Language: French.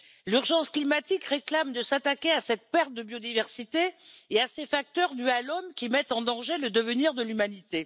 L'urgence climatique réclame de s'attaquer à cette perte de biodiversité et à ces facteurs dus à l'homme, qui mettent en danger le devenir de l'humanité.